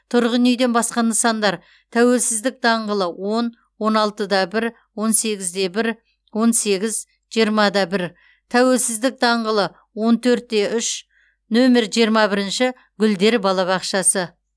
тұрғын үйден басқа нысандар тәуелсіздік даңғылы он он алты да бір он сегіз де бір он сегіз жиырма да бір тәуелсіздік даңғылы он төрт те үш нөмер жиырма бірінші гүлдер балабақшасы